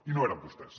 i no eren vostès